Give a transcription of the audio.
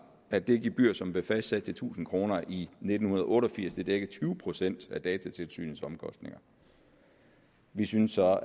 at det gebyr som blev fastsat til tusind kroner i nitten otte og firs dækker tyve procent af datatilsynets omkostninger vi synes så at